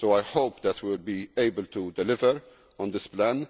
I hope that we will be able to deliver on this plan.